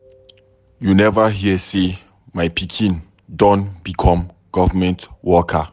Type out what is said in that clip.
You never hear say my pikin don become government worker